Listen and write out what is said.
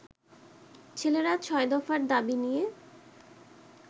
ছেলেরা ছয় দফার দাবি নিয়ে